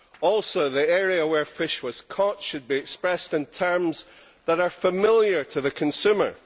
Also, the area where the fish was caught should be expressed in terms that are familiar to the consumer.